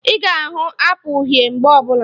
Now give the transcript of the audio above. Ị ga ahụ Apụl uhie mgbe ọbụla